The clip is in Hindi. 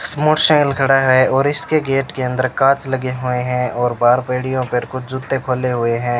मोटरसाइकिल खड़ा है और इसके गेट के अंदर कांच लगे हुए हैं और बाहर पेड़ियों पर कुछ जुत्ते खोले हुए हैं।